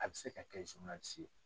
A bɛ se ka kɛ ye.